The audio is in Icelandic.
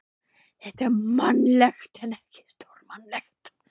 Þetta er mannlegt en ekki stórmannlegt.